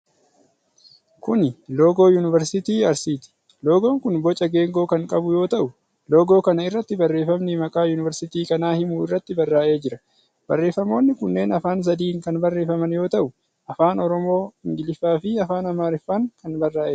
Kuni loogo yuunivarsiitii Arsiiti. Loogoon kun boca geengoo kan qabu yoo ta'u, loogoo kana irratti barreefamni maqaa yunvarsiitii kanaa himu irratti barraa'ee jira. Barreefamoonni kunneen afaan sadiin kan barreefaman yoo ta'u, Afaan oromoo, Ingiliffaa fi afaan Amaariffaan kan barraa'edha.